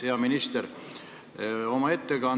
Hea minister!